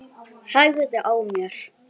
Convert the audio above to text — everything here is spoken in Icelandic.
Hægði á mér.